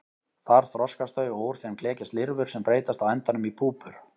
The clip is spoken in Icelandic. Þar þroskast þau og úr þeim klekjast lirfur sem breytast á endanum í púpur.